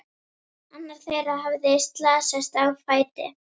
Annar þeirra hafði slasast á fæti.